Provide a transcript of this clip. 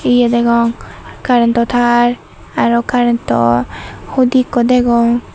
ye degong carentto tar aro carentto hudi ekko degong.